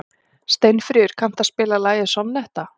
Steinfríður, kanntu að spila lagið „Sonnetta“?